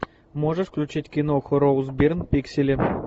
можешь включить киноху роуз бирн пиксели